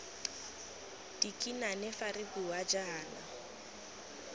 dikinane fa re bua jaana